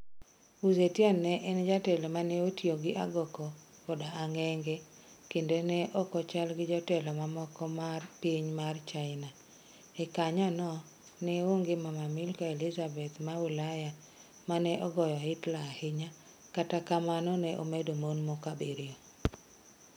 Wu Zetian ne en jatelo waneotiyo ni agoko koda ang'enge kendo ne okochalgi jotelo mamoko mar piny mar Chini. E kanyo no ne onge mama Malkia Elizabeth ma Ulaya mane ogojo Hilter ahinya, kata kamano ne omed mon moko abiriyo